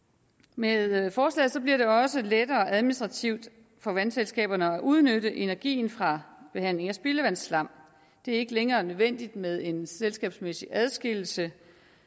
med med forslaget bliver det også lettere administrativt for vandselskaberne at udnytte energien fra behandling af spildevandsslam det er ikke længere nødvendigt med en selskabsmæssig adskillelse